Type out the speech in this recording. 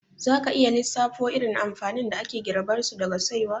Za ka iya lissafo irin amfanin da ake girbarsu daga saiwa?